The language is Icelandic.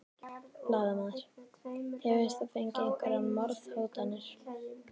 Blaðamaður: Hefur þú fengið einhverjar morðhótanir?